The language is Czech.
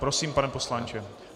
Prosím, pane poslanče.